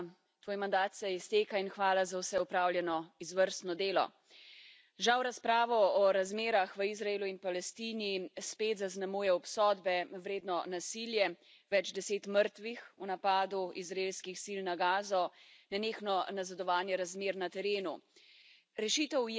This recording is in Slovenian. Spoštovana Federica, tvoj mandat se izteka in hvala za vse opravljeno izvrstno delo. Žal razpravo o razmerah v Izraelu in Palestini spet zaznamuje obsodbe vredno nasilje, več deset mrtvih v napadu izraelskih sil na Gazo, nenehno nazadovanje razmer na terenu.